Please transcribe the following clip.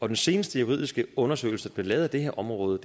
den seneste juridiske undersøgelse der blev lavet af det her område